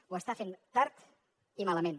ho està fent tard i malament